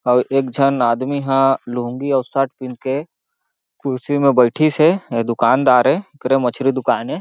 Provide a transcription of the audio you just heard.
अउ एक जन आदमी ह लुंगी और शर्ट पीन के खुर्सी में बइठिस हेये दुकानदार हेएकरे मछरी दुकान ए।